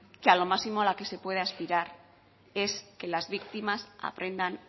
que a lo máximo a lo que se puede aspirar es que las victimas aprendan